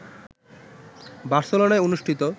বার্সেলোনায় অনুষ্ঠিত